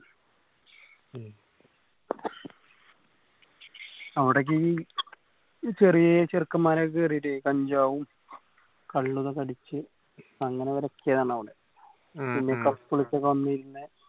ഉം അവിടേക്ക് എനി ഈ ചെറിയേ ചെറുക്കന്മാര് ഒക്കെ കയറീട്ടെ കഞ്ചാവും കള്ളും ഇതൊക്കെ അടിച്ച് അങ്ങനെ വിലക്കിയതാണ് അവിടെ ഉം പിന്നെ couples ഒക്കെ വന്നിരുന്ന്